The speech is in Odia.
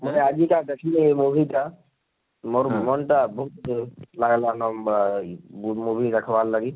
ମୁଇ ଆଜି କା ଦେଖମି ହେ movie ଟା ମୋର ମନ ଟା ଲାଗଲାନ ବାଁ movie ଦେଖବାର ଲାଗି